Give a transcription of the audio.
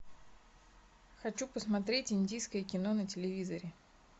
хочу посмотреть индийское кино на телевизоре